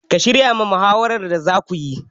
Ka shirya ma muhawaran da za kuyi?